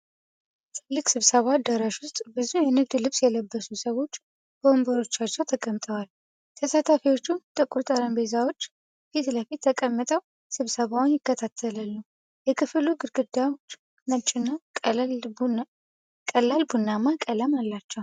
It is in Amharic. ትልቅ ስብሰባ አዳራሽ ውስጥ ብዙ የንግድ ልብስ የለበሱ ሰዎች በወንበሮቻቸው ተቀምጠዋል። ተሳታፊዎቹ ጥቁር ጠረጴዛዎች ፊት ለፊት ተቀምጠው ስብሰባውን ይከታተላሉ። የክፍሉ ግድግዳዎች ነጭና ቀላል ቡናማ ቀለም አላቸው።